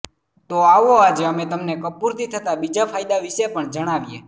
તો આવો આજે અમે તમને કપૂરથી થતા બીજા ફાયદા વિષે પણ જણાવીએ